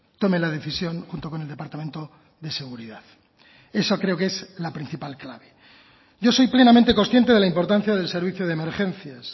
tome la decisión junto con el departamento de seguridad eso creo que es la principal clave yo soy plenamente consciente de la importancia del servicio de emergencias